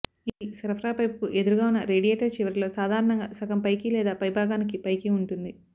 ఇది సరఫరా పైపుకి ఎదురుగా ఉన్న రేడియేటర్ చివరిలో సాధారణంగా సగం పైకి లేదా పైభాగానికి పైకి ఉంటుంది